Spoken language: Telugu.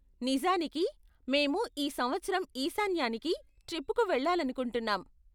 నిజానికి, మేము ఈ సంవత్సరం ఈశాన్యానికి ట్రిప్కు వెళ్ళాలనుకుంటున్నాం.